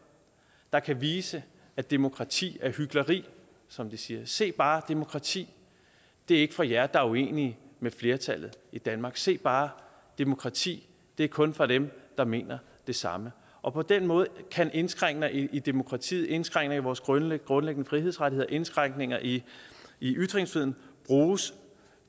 der kan vise at demokrati er hykleri som de siger se bare demokrati det er ikke for jer der er uenige med flertallet i danmark se bare demokrati det er kun for dem der mener det samme og på den måde kan indskrænkninger i demokratiet indskrænkninger i vores grundlæggende frihedsrettigheder indskrænkninger i i ytringsfriheden bruges